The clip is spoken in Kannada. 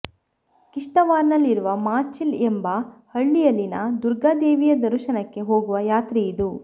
ಕಿಶ್ತವಾರ್ನಲ್ಲಿರುವ ಮಾಚಿಲ್ ಎಂಬ ಹಳ್ಳಿಯಲ್ಲಿನ ದುರ್ಗಾ ದೇವಿಯ ದರುಶನಕ್ಕೆ ಹೋಗುವ ಯಾತ್ರೆಯಿದು